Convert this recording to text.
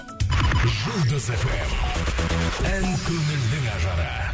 жұлдыз фм ән көңілдің ажары